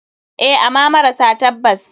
Eh ama mara tabbas.